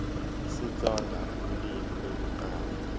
isitsonga ulimi lokuqala